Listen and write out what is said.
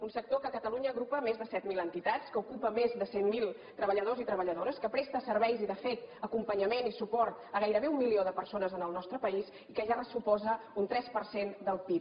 un sector que a catalunya agrupa més de set mil entitats que ocupa més de cent mil treballadors i treballadores que presta serveis i de fet acompanyament i suport a gairebé un milió de persones en el nostre país i que ja suposa un tres per cent del pib